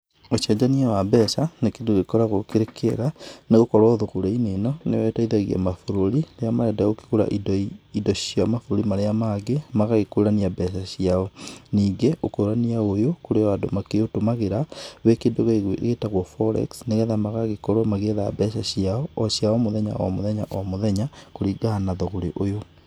Ũcenjania wa mbeca, nĩ kĩndũ gĩkoragũo kĩrĩ kĩega, nĩgũkorũo thũgũrĩ-inĩ ĩno, nĩyo ĩteithagia mabũrũri, rĩrĩa marenda gũkĩgũra indo cia mabũrũri marĩa mangĩ, magagĩkũrania mbeca ciao. Ningĩ ũkũrania ũyũ, kũrĩ o andũ makĩũtũmagĩra wĩ kĩndũ gĩtagũo Forex, nĩgetha magagĩkorũo magĩgĩetha mbeca ciao o cia o mũthenya o mũthenya o mũthenya, kũringana na thũgũrĩ ũyũ.